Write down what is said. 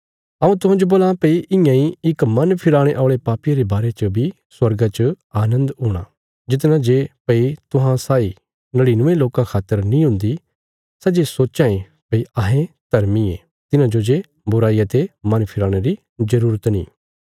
हऊँ तुहांजो बोलां भई इयां इ इक मन फिराणे औल़े पापिये रे बारे च बी स्वर्गा च आनन्द हूणा जितना जे भई तुहां साई नड़िनुये लोकां खातर नीं हुन्दी सै जे सोच्चां ये भई अहें धर्मी ये तिन्हाजो जे बुराईया ते मन फिराणे री जरूरत नीं